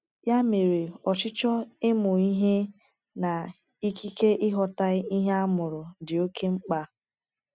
Ya mere, ọchịchọ ịmụ ihe na ikike ịghọta ihe a mụrụ dị oké mkpa.